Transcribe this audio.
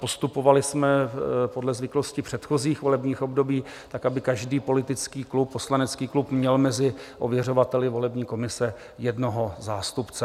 Postupovali jsme podle zvyklostí předchozích volebních období tak, aby každý politický klub, poslanecký klub, měl mezi ověřovateli volební komise jednoho zástupce.